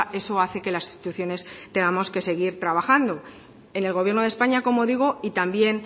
eso hace que las instituciones tengamos que seguir trabajando en el gobierno de españa como digo y también